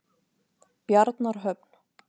Bjarnarhöfn